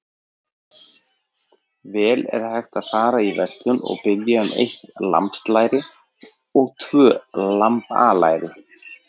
Vel er hægt að fara í verslun og biðja um eitt lambslæri og tvö lambalæri.